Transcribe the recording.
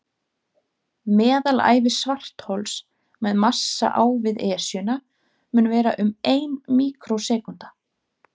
Meðalævi svarthols með massa á við Esjuna mun vera um ein míkrósekúnda.